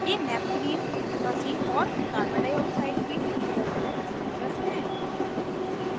ये naphthalene anthracene और carbon dioxide के resonance structures हैं